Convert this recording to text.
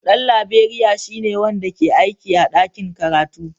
Dan Laberiya shine wanda ke aiki a ɗakin karatu.